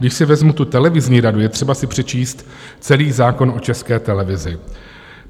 Když si vezmu tu televizní radu, je třeba si přečíst celý zákon o České televizi.